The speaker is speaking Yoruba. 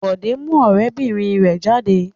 Bọ̀dé mú ọ̀rẹ́bìnrin rẹ̀ jáde.